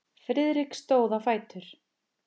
Friðrik stóð á fætur.